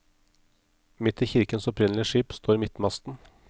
Midt i kirkens opprinnelige skip står midtmasten.